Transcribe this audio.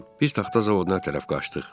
Biz taxta zavoduna tərəf qaçdıq.